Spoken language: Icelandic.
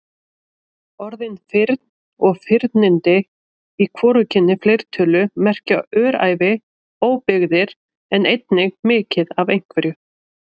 Orðin firn og firnindi í hvorugkyni fleirtölu merkja öræfi, óbyggðir en einnig mikið af einhverju.